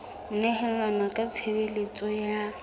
ho nehelana ka tshebeletso ya